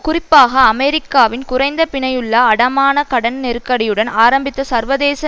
குறிப்பாக அமெரிக்காவின் குறைந்த பிணையுள்ள அடமான கடன் நெருக்கடியுடன் ஆரம்பித்த சர்வதேச